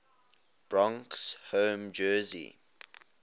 broncos home jersey